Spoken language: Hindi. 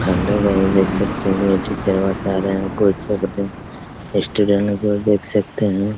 हेलो गाइस देख सकते है ये टीचर बता रहे है स्टूडेंट को भी देख सकते हैं ।